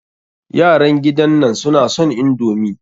Yaran gidan nan suna son indomi.